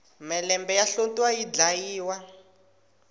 mhelembe ya hlotiwa yi dlayiwa